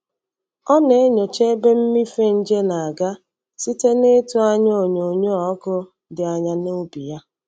Ọ na-enyocha ebe mmịfe nje na-aga site n'ịtụ anya onyoonyo ọkụ dị anya n'ubi ya.